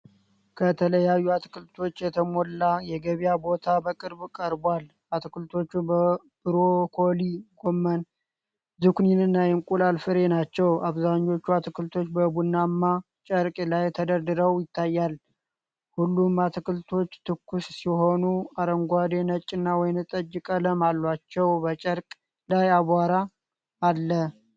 ከተለያዩ አትክልቶች የተሞላ የገበያ ቦታ በቅርብ ቀርቧል። አትክልቶቹ ብሮኮሊ፣ ጎመን፣ ዝኩኒና የእንቁላል ፍሬ ናቸው። አብዛኛዎቹ አትክልቶች በቡናማ ጨርቅ ላይ ተደርድረው ይታያል። ሁሉም አትክልቶች ትኩስ ሲሆኑ አረንጓዴ፣ ነጭና ወይንጠጅ ቀለም አላቸው። በጨርቁ ላይ አቧራ አለ።